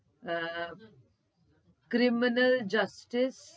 અમ criminal justice